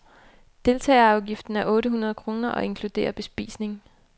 Deltagerafgiften er otte hundrede kroner og inkluderer bespisning.